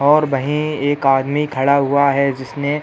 और वही एक आदमी खड़ा हुआ है जिसने --